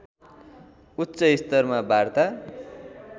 उच्चस्तरमा बार्ता